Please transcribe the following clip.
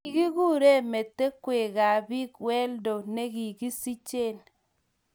kikurkuren metewekab biik weldo ne kikisichen.